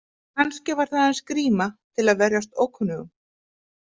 Kannski var það aðeins gríma til að verjast ókunnugum?